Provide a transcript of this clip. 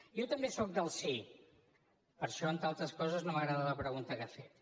jo també sóc del sí per això entre altres coses no m’agrada la pregunta que ha fet